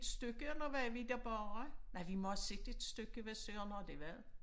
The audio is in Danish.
stykke eller var vi der bare. Nej vi må have set et stykke hvad Søren har det været